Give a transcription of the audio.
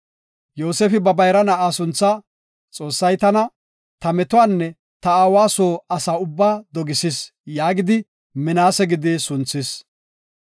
Yoosefi ba bayra na7aa sunthaa, “Xoossay tana ta metuwanne ta aawa soo asa ubbaa dogisis” gidi Minaase gidi sunthis.